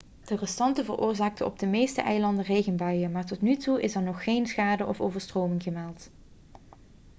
de restanten veroorzaakten op de meeste eilanden regenbuien maar tot nu toe is er nog geen schade of overstroming gemeld